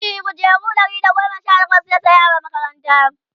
e kujeru Ɗari da goma Sha takwas yasaya wa makaranta